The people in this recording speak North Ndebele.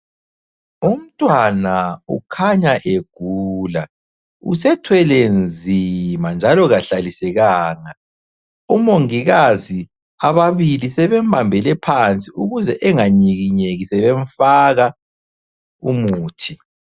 Umntwana ukhanya egula, usethwelenzima njalo kahlalisekanga. Omongikazi ababili sebembambele phansi ukuze enganyikinyeki sebemfaka umuthi.